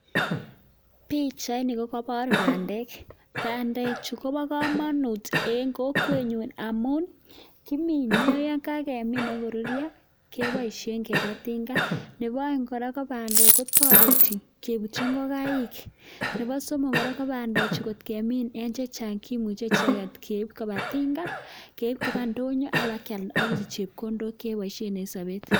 Pichaini kogobor bandek. Bandechu ko bo komonut en kokwenyun amun kimine, yon kagimin agoruryo kiboishen keba tinga. Nebo oeng' kora ko bandek kotoreti kebutchi ingokaik. Nebo somok kora ko bandechu ngemin en chang kimuche icheget keib koba tinga, keib koba ndonyo ak kibakealda ak isich chepkondok che boisien en sobet.